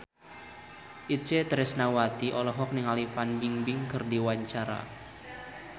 Itje Tresnawati olohok ningali Fan Bingbing keur diwawancara